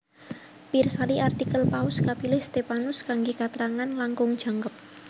Pirsani artikel Paus kapilih Stephanus kanggé katrangan langkung jangkep